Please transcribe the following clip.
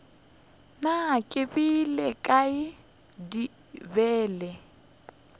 na ke beile kae bibele